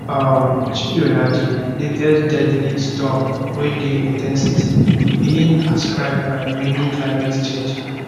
um chido na di latest deadly storm wey dey in ten sity being ascribed by many to climate change